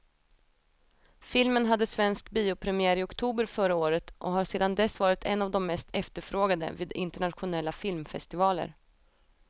Filmen hade svensk biopremiär i oktober förra året och har sedan dess varit en av de mest efterfrågade vid internationella filmfestivaler.